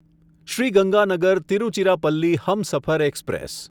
Shri Ganganagar Tiruchirappalli Humsafar express